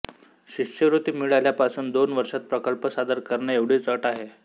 शिष्यवृत्ती मिळाल्यापासून दोन वर्षात प्रकल्प सादर करणे एवढीच अट आहे